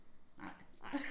Nej